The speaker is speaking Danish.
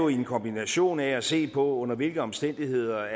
en kombination af at se på under hvilke omstændigheder